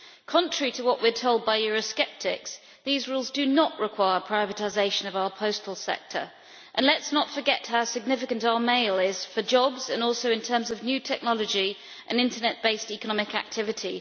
Contrary to what we are told by Eurosceptics, these rules do not require privatisation of our postal sector, and let us not forget how significant our mail is for jobs and also in terms of new technology and internet based economic activity.